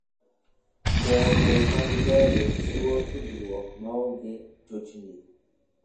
Ndege mag ndege chiwo tudruok maonge chochni.